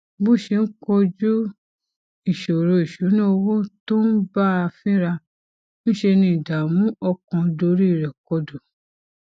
bó ṣe ń kojú ìṣòro ìṣúnná owó tó ń bá a fínra ńṣe ni ìdààmú ọkàn dorí rè kodò